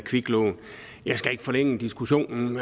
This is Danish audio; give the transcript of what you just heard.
kviklån jeg skal ikke forlænge diskussionen